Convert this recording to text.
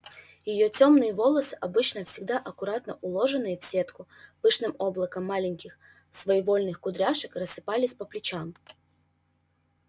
её тёмные волосы обычно всегда аккуратно уложенные в сетку пышным облаком маленьких своевольных кудряшек рассыпались по плечам